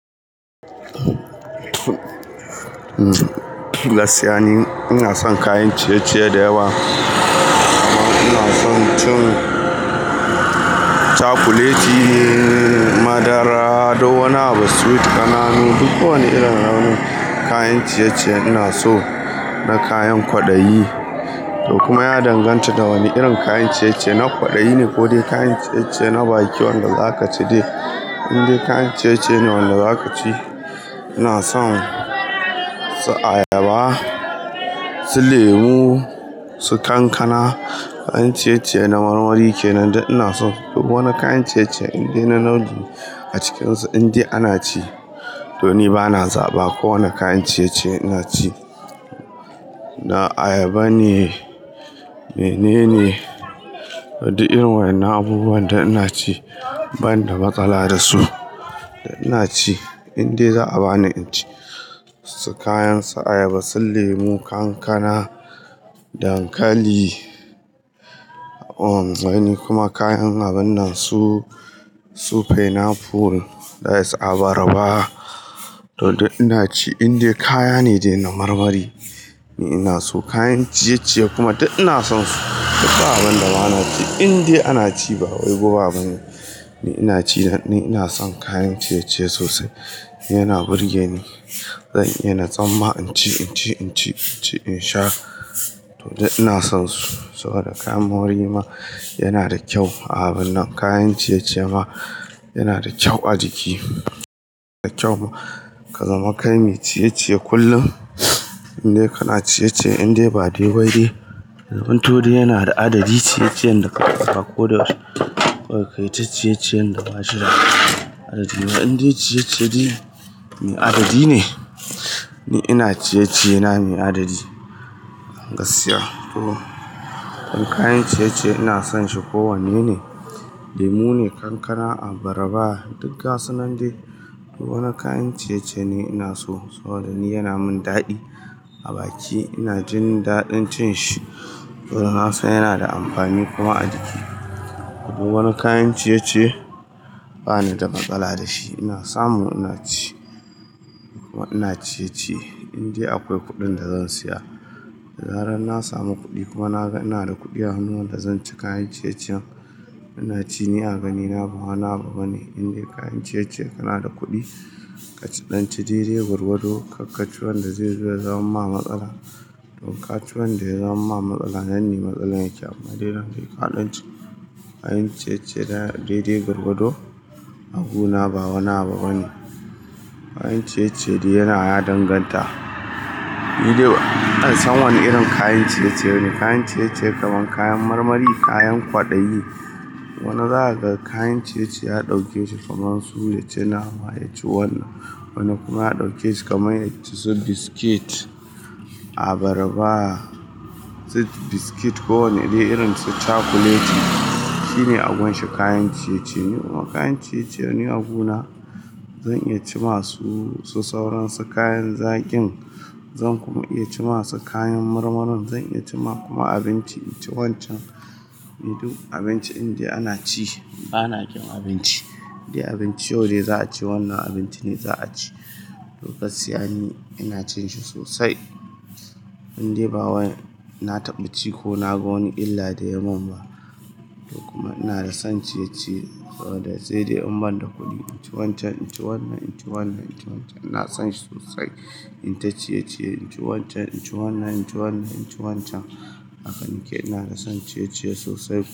Gaskiya ni ina son kayan ciye-ciye da yawa. Ina son cin cakuleti, madara, duk wani abu sweet ƙananu. Duk wani irin nau'in kayan ciye-ciye ina so, na kayan kwaɗayi. To kuma ya danganta da wane irin kayan ciye-ciye na kwaɗayi ne ko dai kayan ciye-ciye na baki wanda za ka ci dai. In dai kayan ciye-ciye ne wanda za ka ci. Ina son su ayaba, su lemu, su kankana, kayan ciye-ciye na marmari kenan dai ina so. Duk wani kayan ciye-ciye in dai na nau'i a cikinsu, in dai ana ci to ni bana zaɓa kowane kayan ciye-ciye ina ci. Na ayaba ne, mene ne, to duk irin wannan abubuwan duk ina ci ban da matsala da su. Ina ci in dai za a bani in ci su kayan su ayaba, su lemu, kankana, dankali, umm ai ni kuma kayan abun nan su, su pineapple that's abarba to duk ina ci in dai kaya ne dai na marmari ni ina so. Kayan ciye-ciye kuma duk ina son su. Duk abun da bana ci in dai ana ci ba wai guba bane. Ni ina ci da ni ina son kayan ciye-ciye sosai. Ni yana burge ni. Zan iya na tsamma in ci, in ci, in ci, in sha to dai ina son su. Saboda kayan marmari ma yana da kyau a abun nan kayan ciye-ciye ma yana da kyau a jiki. Yana da kyau ka zama kai mai ciye-ciye kullum in dai kana ciye-ciye in dai ba dai wai dai. Ya zamanto to dai yana da adadi ciye-ciyen da ka ɗauka koda da kawai kayi ta ciye-ciyen da ba shi da adadi ba. In dai ciye-ciye dai me adadi ne ni ina ciye-ciye na me adadi. Gaskiya to don kayan ciye-ciye ina son shi ko wanne ne, lemu ne, kankana, abarba duk gasu nan dai. Duk wani kayan ciye-ciye ni ina so saboda ni yana min daɗi a baki ina jin daɗin cin shi. Saboda nasan yana da amfani kuma a jiki. Duk wani kayan ciye-ciye bani da matsala da shi ina samu ina ci kuma ina ciye-ciye in dai akwai kuɗin da zan siya. Da zaran na samu kuɗi kuma na ga ina da kuɗi a hannuna da zan ci kayan ciye-ciyen ina ci, ni a ganina ba wani abu bane. In dai kayan ciye-ciye kana da kuɗi ka ci ɗan ci daidai gwargwado kak ka ci wanda zai zo ya zaman ma matsala. To ka ci wanda ya zaman ma matsala nan ne matsala yake amma dai nan dai ka ɗan ci kayan ciye-ciye dai dai gwargwado a guna ba wani abu bane. Kayan ciye-ciye dai yana ya danganta. Ni dai ban san wane irin kayan ciye-ciye bane. Kayan ciye-ciye kaman kayan marmari, kayan kwaɗayi. Wani za kaga kayan ciye-ciye ya ɗauke su kaman su ne ci nama ya ci wannan. Wani kuma ya ɗauke shi kamar ya ci su biskit, abarba, sai biskit ko wanne dai irin su cakuleti. Shi ne abun shi kayan ciye-ciye. Kuma kayan ciye-ciye a guna zan iya ci masu su sauransu kayan zaƙin zan kuma iya ci ma su kayan marmarin zan iya ci ma kuma abinci in ci wancan. Ni duk abinci in dai ana ci bana ƙin abinci. In dai abinci yau dai za a ce wannan abinci ne za a ci. To gaskiya ni ina cin shi sosai. In dai ba wai na taɓa ci ko na ga wani illa da ya mun ba. To kuma ina da son ciye-ciye saboda da sai dai in ban da kuɗi in ci wancan, in ci wannan, in ci wannan, in ci wancan ina son shi sosai. In ta ciye-ciye in ci wancan, in ci wannan, in ci wannan, in ci wancan. Haka ni ke ina da son ciye-ciye sosai.